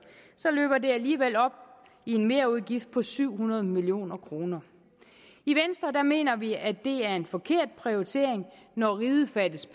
så løber det alligevel op i en merudgift på syv hundrede million kroner i venstre mener vi at det er en forkert prioritering når riget fattes